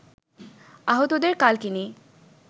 আহতদের কালকিনি